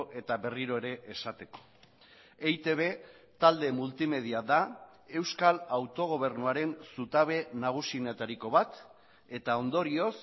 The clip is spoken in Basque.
eta berriro ere esateko eitb talde multimedia da euskal autogobernuaren zutabe nagusienetariko bat eta ondorioz